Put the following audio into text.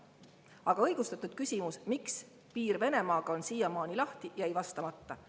Aga õigustatud küsimus, miks piir Venemaaga on siiamaani lahti, jäi vastamata.